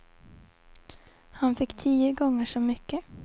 Han fick tio gånger så mycket.